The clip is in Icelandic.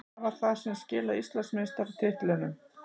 Hvað var það sem skilaði Íslandsmeistaratitlinum?